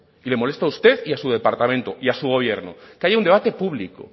y le molesta a usted y a su departamento y a su gobierno que haya un debate público